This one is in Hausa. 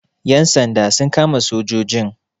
Ƴan sanda sun kama sojojin.